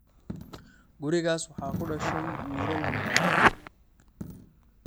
Gurigaas waxaa ku dhashay wiilal madhan.